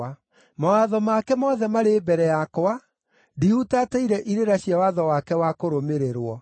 Mawatho make mothe marĩ mbere yakwa; ndihutatĩire irĩra cia watho wake wa kũrũmĩrĩrwo.